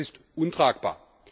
Das ist untragbar!